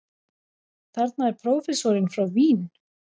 Þarna er prófessorinn frá Vín.